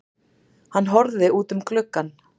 Hann horfði út um gluggann.